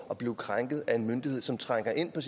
at blive krænket af en myndighed som trænger ind på